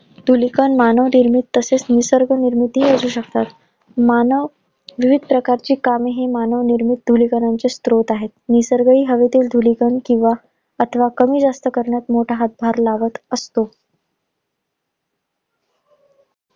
धूलिकण मानवनिर्मित तसेच निसर्ग निर्मित हि असू शकतात. मानव विविध प्रकारची काम हे मानवनिर्मित धळीकणांचे स्रोत आहे. निसर्ग हवेतील धूलिकण किंवा अथवा कमी जास्त करण्यात मोठा हातभार लावत असतो.